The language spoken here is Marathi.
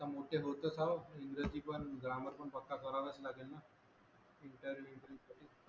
आता मोठे होतच आहो इंग्रजी पण ग्रामर पण पक्क करावेच लागेल ना इंटरव्ह्यु